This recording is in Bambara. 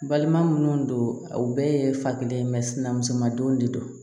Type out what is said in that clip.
Balima minnu don u bɛɛ ye fa kelen ye sin na musoman don de don